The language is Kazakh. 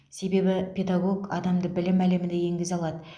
себебі педагог адамды білім әлеміне енгізе алады